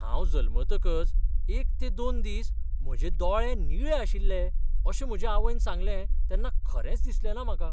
हांव जल्मतकच एक ते दोन दीस म्हजे दोळे निळे आशिल्ले अशें म्हजे आवयन सांगलें तेन्ना खरेंच दिसलेंना म्हाका.